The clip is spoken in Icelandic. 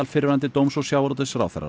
fyrrverandi dóms og sjávarútvegsráðherrar